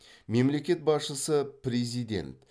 мемлекет басшысы президент